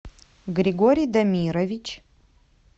григорий дамирович